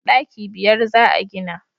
daki biyar za a gina